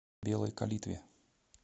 белой калитве